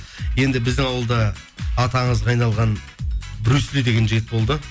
енді біздің ауылда аты аңызға айналған брюс ли деген жігіт болды